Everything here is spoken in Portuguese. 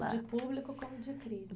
De público como de